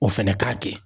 O fɛnɛ k'a kɛ